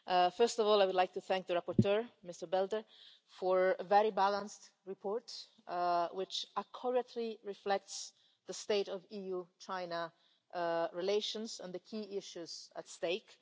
First of all, I would like to thank the rapporteur, Mr Belder, for a very balanced report which accurately reflects the state of EU China relations and the key issues at stake.